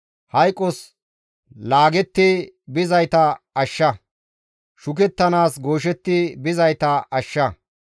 Hayqos laagetti bizayta ashsha; shukettanaas gooshetti bizayta ashsha.